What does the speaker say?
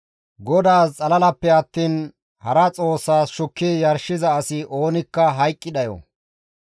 «GODAAS xalalappe attiin hara xoossas shukki yarshiza asi oonikka hayqqi dhayo.